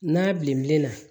N'a bilenna